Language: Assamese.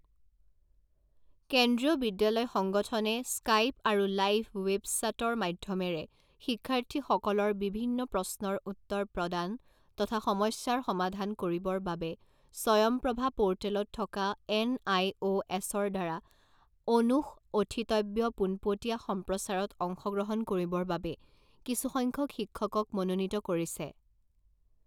কেন্দ্ৰীয় বিদ্যালয় সংগঠনে স্কাইপ আৰু লাইভ ৱেব চাটৰ মাধ্যমেৰে শিক্ষাৰ্থীসকলৰ বিভিন্ন প্ৰশ্নৰ উত্তৰ প্ৰদান তথা সমস্যাৰ সমাধান কৰিবৰ বাবে স্বয়মপ্ৰভা পোৰ্টেলত থকা এনআইঅ এছৰ দ্বাৰা অনুষঅঠিতব্য পোনপটীয়া সম্প্ৰচাৰত অংশগ্ৰহণ কৰিবৰ বাবে কিছুসংখ্যক শিক্ষকক মনোনীত কৰিছে।